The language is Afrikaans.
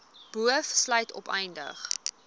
boov sluit opleiding